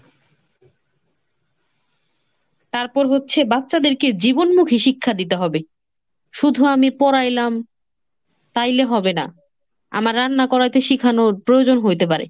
তারপর হচ্ছে বাচ্চাদেরকে জীবনমুখী শিক্ষা দিতে হবে। শুধু আমি পড়াইলাম, তাইলে হবে না। আমার রান্না করাইতে শিখানোর প্রয়োজন হইতে পারে।